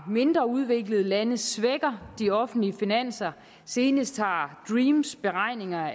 mindre udviklede lande svækker de offentlige finanser senest har dreams beregninger